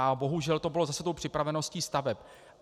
A bohužel to bylo zase tou připraveností staveb.